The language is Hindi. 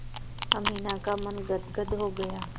अमीना का मन गदगद हो गया